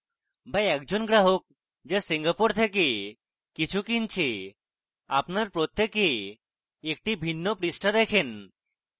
বা একজন গ্রাহক যা singapore থেকে কিছু কিনছে আপনার প্রত্যেকে একটি ভিন্ন পৃষ্ঠা দেখেন